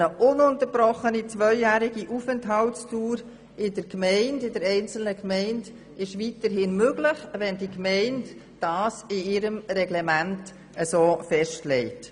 Eine ununterbrochene Aufenthaltsdauer von zwei Jahren in einer Gemeinde ist weiterhin möglich, wenn die Gemeinde das in ihrem Reglement so festlegt.